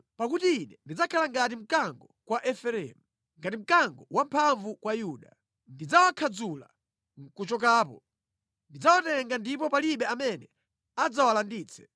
Pakuti Ine ndidzakhala ngati mkango kwa Efereimu. Ngati mkango wamphamvu kwa Yuda. Ndidzawakhadzula nʼkuchokapo; ndidzawatenga ndipo palibe amene adzawalanditse.